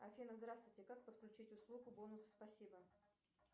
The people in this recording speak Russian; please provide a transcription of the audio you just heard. афина здравствуйте как подключить услугу бонусы спасибо